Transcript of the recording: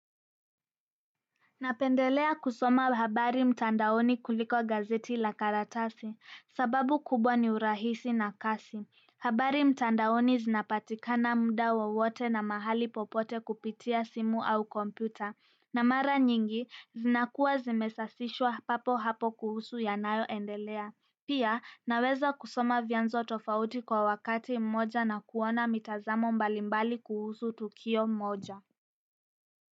Napendelea kusoma habari mtandaoni kuliko gazeti la karatasi, sababu kubwa ni urahisi na kasi. Habari mtandaoni zinapatikana muda wowote na mahali popote kupitia simu au kompyuta. Na mara nyingi, zinakuwa zimesafishwa papo hapo kuhusu yanayoendelea. Pia, naweza kusoma vyanzo tofauti kwa wakati mmoja na kuona mitazamo mbalimbali kuhusu tukio mmoja.